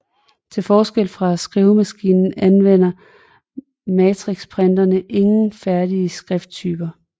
Til forskel fra skrivemaskinen anvender matrixprinterne ingen færdige skrifttyper